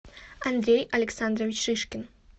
андрей александрович шишкин